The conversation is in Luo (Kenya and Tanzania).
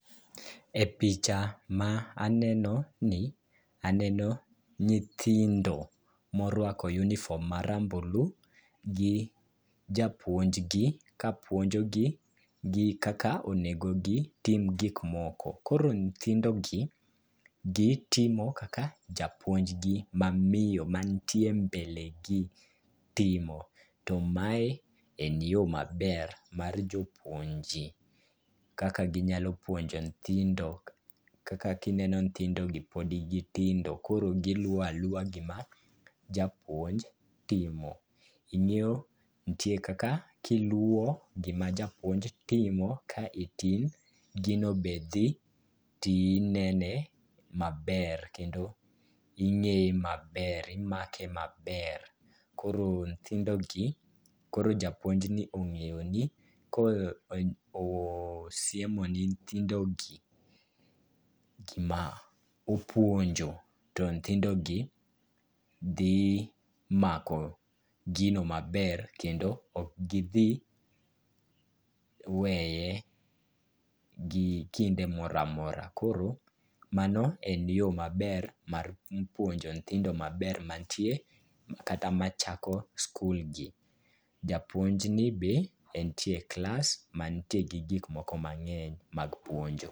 E picha ma aneno ni, aneno nyithindo moruako uniform[c]s ma rambulu, gi japuonj gi kapuonjo gi kaka onego gitim gik moko. Koro nyithindo gi, gitimo kaka japuonjgi ma miyo mantie mbele gi timo. To mae en yo maber mar jopuonje kaka ginyalo puonjo nyithindo. Kaka kineno nyithindo gi pod gitindo, koro giluwo aluwa gima japuonj timo. Ing'eyo ntie kaka kiluwo gima japuonj timo ka itin, gino be dhi tinene maber kendo ing'e e maber, imake maber. Koro nyithindo gi, koro japuonj ni ong'eyo ni ka osiemo ne nyithindo gi gima opuonjo to nyithindo gi dhi mako gino maber kendo ok gidhi weye gi kinde moramora. Koro mano en yo maber mar puonjo nyithindo maber mantie kata machako skul gi. Japuonj ni be entie class mantie gi giko moko mang'eny mag puonjo.